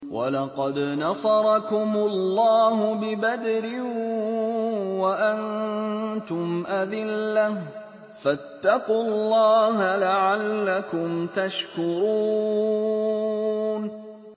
وَلَقَدْ نَصَرَكُمُ اللَّهُ بِبَدْرٍ وَأَنتُمْ أَذِلَّةٌ ۖ فَاتَّقُوا اللَّهَ لَعَلَّكُمْ تَشْكُرُونَ